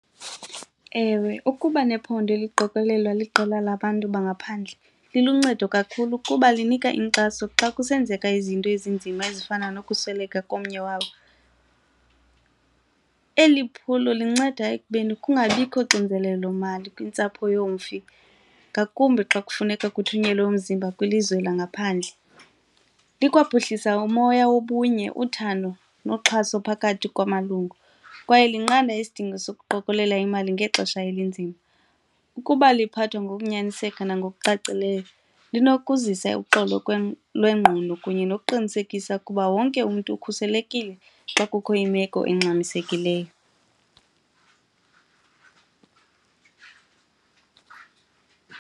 Ewe, ukuba nephondo eliqokelelwa liqela labantu bangaphandle liluncedo kakhulu kuba linika inkxaso xa kusenzeka izinto ezinzima ezifana nokusweleka komnye wabo. Eli phulo linceda ekubeni kungabikho xinzelelo mali kwintsapho yomfi ngakumbi xa kufuneka kuthunyelwa umzimba kwilizwe langaphandle. Likwaphuhlisa umoya wobunye, uthando noxhaso phakathi kwamalungu kwaye liqanda isidingo sokuqokelela imali ngexesha elinzima. Ukuba liphathwa ngokunyaniseka nangokucacileyo lunokuzisa uxolo lwengqondo kunye nokuqinisekisa ukuba wonke umntu ukhuselekile xa kukho imeko engxamisekileyo.